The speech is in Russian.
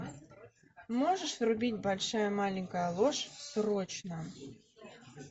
можешь врубить большая маленькая ложь срочно